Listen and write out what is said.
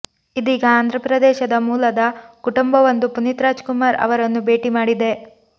ಇದೀಗ ಆಂಧ್ರಪ್ರದೇಶ ಮೂಲದ ಕುಟುಂಬವೊಂದು ಪುನೀತ್ ರಾಜ್ ಕುಮಾರ್ ಅವರನ್ನು ಭೇಟಿ ಮಾಡಿದೆ